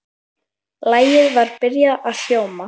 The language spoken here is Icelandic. Lagið var byrjað að hljóma.